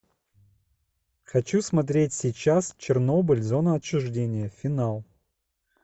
хочу смотреть сейчас чернобыль зона отчуждения финал